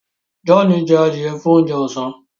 John jẹ adiẹ fún oúnjẹ ọsán